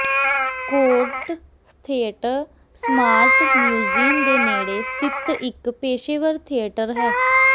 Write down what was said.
court Theatre Smart Museum ਦੇ ਨੇੜੇ ਸਥਿਤ ਇੱਕ ਪੇਸ਼ੇਵਰ ਥੀਏਟਰ ਹੈ